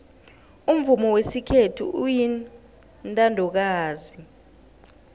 umvumo wesikhethu uyintandokazi